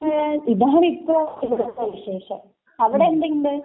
ഇതാണിപ്പോ ഇവിടത്തെ വിശേഷം. അവിടെന്തുണ്ട്?